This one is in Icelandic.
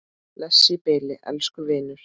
Bless í bili, elsku vinur.